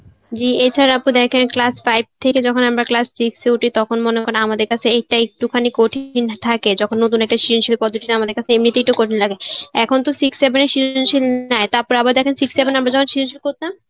জি এ ছাড়া আপু দেখেন class five থেকে যখন আমরা class six এ উঠি, তখন মনে হই আমাদের কাছে এইটাই একটুখানি কঠিন থাকে যখন নতুন একটা এমনিতেই তো কঠিন লাগে এখন তো six seven এ সেজনশীল নেই তারপর আবার দেখেন, six seven এ আমরা যখন সেজনশীল করতাম